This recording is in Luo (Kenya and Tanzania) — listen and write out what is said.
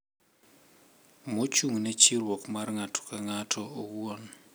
Mochung'ne chiwruok mar ng'ato ka ng'ato owuon.